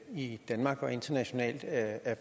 i danmark og internationalt er